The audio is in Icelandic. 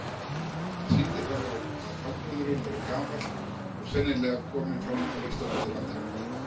Hann sýndi fram á að framburðurinn væri gamall og sennilega kominn fram á vestanverðu landinu.